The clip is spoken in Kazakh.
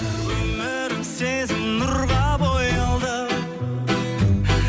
өмірім сезім нұрға боялды